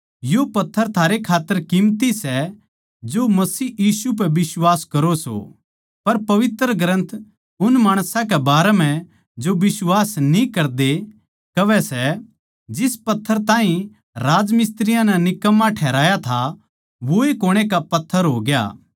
यो पत्थर थारै खात्तर कीमती सै जो मसीह यीशु पै बिश्वास करो सों पर पवित्र ग्रन्थ उन माणसां के बारें म्ह जो बिश्वास न्ही करदे कहवै सै जिस पत्थर ताहीं राजमिस्त्रियाँ नै निकम्मा ठहराया था वोए कोणे का पत्थर हो गया